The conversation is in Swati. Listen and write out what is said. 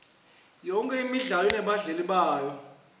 yonke imidlalo inebalandzeli bayo